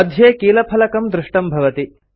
मध्ये कीलफलकं दृष्टं भवति